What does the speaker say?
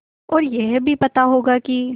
और यह भी पता होगा कि